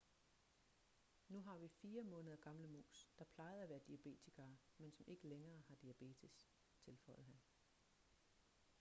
nu har vi 4 måneder gamle mus der plejede at være diabetikere men som ikke længere har diabetes tilføjede han